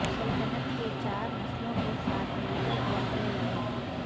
سلطنت کے چار نسلوں کے ساتھ ملکر جنگیں لڑیں